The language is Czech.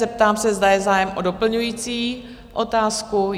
Zeptám se, zda je zájem o doplňující otázku?